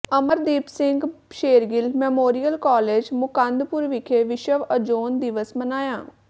Amardeep Singh Shergill memorial college Mukandpur ਵਿਖੇ ਵਿਸ਼ਵ ozone ਦਿਵਸ ਮਨਾਇਆ